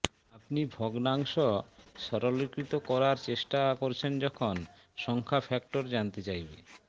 আপনি ভগ্নাংশ সরলীকৃত করার চেষ্টা করছেন যখন সংখ্যা ফ্যাক্টর জানতে চাইবে